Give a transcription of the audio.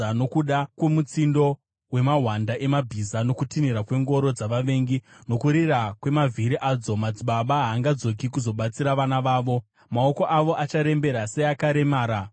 pavachanzwa mutsindo wemahwanda emabhiza, kutinhira kwengoro dzavavengi, nokurira kwemavhiri adzo. Madzibaba haangadzoki kuzobatsira vana vavo; maoko avo acharembera seakaremara.